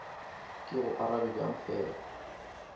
ke go arabe bjang fela